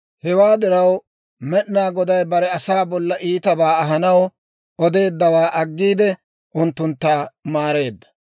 Hewaa diraw, Med'inaa Goday bare asaa bolla iitabaa ahanaw odeeddawaa aggiide, unttuntta maareedda.